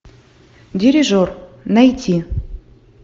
дирижер найти